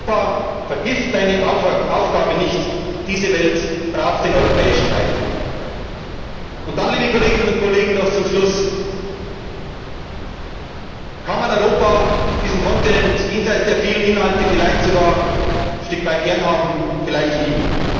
Welt. Europa, vergiss deine Aufgabe nicht, diese Welt braucht den europäischen Beitrag! Liebe Kolleginnen und Kollegen, noch zum Schluss Kann man Europa, diesen Kontinent, jenseits der vielen Inhalte, vielleicht sogar ein Stück weit gern haben, vielleicht